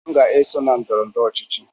M ga-esonye na ndọrọ ndọrọ ọchịchị.